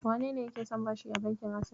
Wanene yake son bashi a bankin Ases?